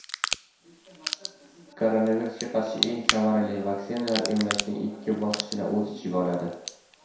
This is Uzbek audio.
Koronavirusga qarshi eng samarali vaksinalar emlashning ikki bosqichini o‘z ichiga oladi.